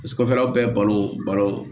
Sanfɛla bɛɛ balon balon